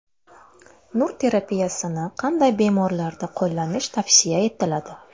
Nur terapiyasini qanday bemorlarda qo‘llanish tavsiya etiladi?